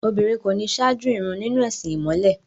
Obìnrin kò ní ṣáájú ìrun nínú ẹ̀sìn ìmọ̀le.